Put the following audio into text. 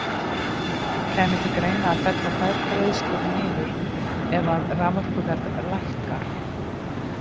Kæmi til greina að fella þær greiðslur niður ef að raforkuverð lækkar?